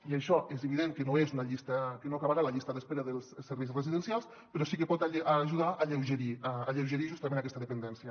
i això és evident que no acabarà amb la llista d’espera dels serveis residencials però sí que pot ajudar a alleugerir justament aquesta dependència